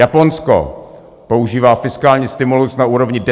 Japonsko používá fiskální stimul na úrovni 10 % HDP.